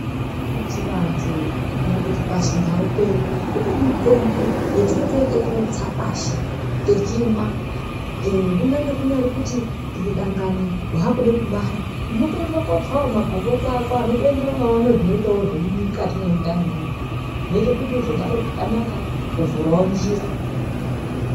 Pachivantu kana kuti pachindau pedu kune mitombo yetinotoite kutsa pashi techimwa ee kunyange kuri kuti dangani wakude kubara unotoendewo kootsawo mangomboti ako anotoenderanawo nezvinoitawo nezviri mukati mwendanimwo imwomwo zvinoite kuti uzobare zvakanaka kana kuvhurawo njira.